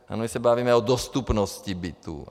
A my se bavíme o dostupnosti bytů.